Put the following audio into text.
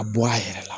A bɔ a yɛrɛ la